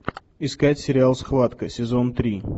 искать сериал схватка сезон три